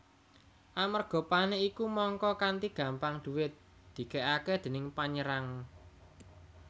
Amerga panik iku mangka kanti gampang duwit dikèkaké déning panyerang